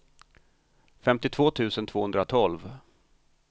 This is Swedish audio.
femtiotvå tusen tvåhundratolv